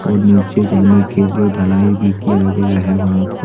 और नीचे जाने के लिए ढलाई भी किया गया है वहां पर।